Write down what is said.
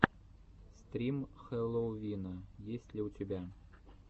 стрим хэллоувина есть ли у тебя